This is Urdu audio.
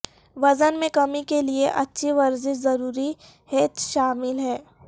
وزن میں کمی کے لئے اچھی ورزش ضروری ھیںچ شامل ہیں